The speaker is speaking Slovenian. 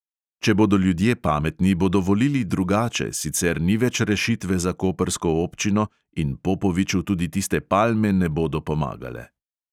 Če bodo ljudje pametni, bodo volili drugače, sicer ni več rešitve za koprsko občino in popoviču tudi tiste palme ne bodo pomagale.